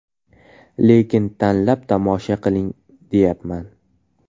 Lekin tanlab tomosha qiling deyapman.